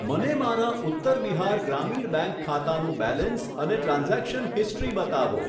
મને મારા ઉત્તર બિહાર ગ્રામીણ બેંક ખાતાનું બેલેન્સ અને ટ્રાન્ઝેક્શન હિસ્ટ્રી બતાવો.